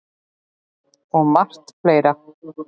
Og margt fleira.